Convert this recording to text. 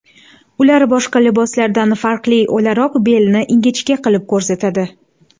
Ular boshqa liboslardan farqli o‘laroq belni ingichka qilib ko‘rsatadi.